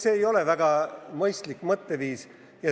See ei ole väga mõistlik mõtteviis.